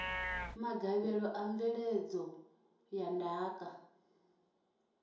magavhelo a mveledzo ya ndaka